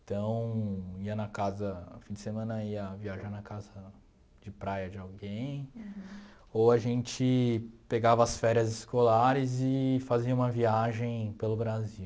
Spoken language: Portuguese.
Então, ia na casa, no fim de semana ia viajar na casa de praia de alguém, ou a gente pegava as férias escolares e fazia uma viagem pelo Brasil.